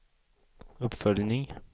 uppföljning